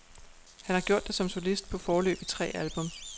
Han har gjort det som solist på foreløbig tre albums.